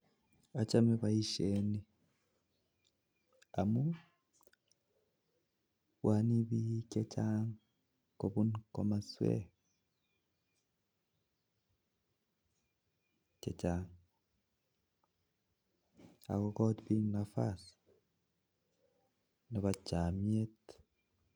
Achame boisyoni amuun bwanei bik chechang kobun kimoswek chechang akokonu boroindo Nebo chomyet